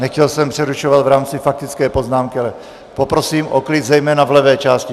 Nechtěl jsem přerušovat v rámci faktické poznámky, ale poprosím o klid, zejména v levé části.